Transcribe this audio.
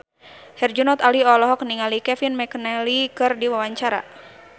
Herjunot Ali olohok ningali Kevin McNally keur diwawancara